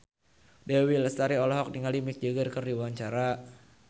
Dewi Lestari olohok ningali Mick Jagger keur diwawancara